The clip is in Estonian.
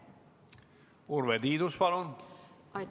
Urve Tiidus, palun!